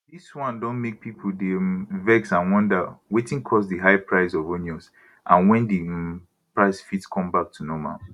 dis one don make pipo dey um vex and wonder wetin cause di high price of onions and wen di um price fit come back to normal